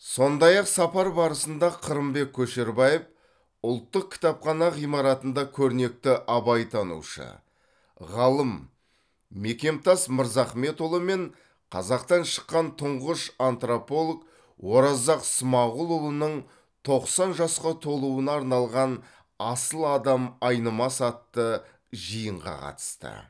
сондай ақ сапар барысында қырымбек көшербаев ұлттық кітапхана ғимаратында көрнекті абайтанушы ғалым мекемтас мырзахметұлы мен қазақтан шыққан тұңғыш антрополог оразақ смағұлұлының тоқсан жасқа толуына арналған асыл адам айнымас атты жиынға қатысты